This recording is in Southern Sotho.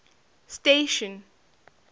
station